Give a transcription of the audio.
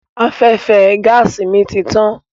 Afẹ́fẹ́ gáàsì mi ti tán.